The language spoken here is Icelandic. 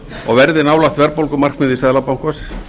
og verðið nálægt verðbólgumarkmiði seðlabankans